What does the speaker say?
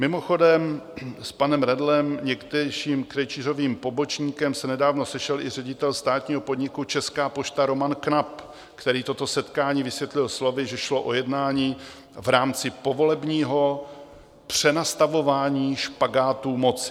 Mimochodem s panem Redlem, někdejším Krejčířovým pobočníkem, se nedávno sešel i ředitel státního podniku Česká pošta Roman Knap, který toto setkání vysvětlil slovy, že šlo o jednání v rámci povolebního přenastavování špagátů moci.